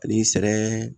Ani sɛrɛ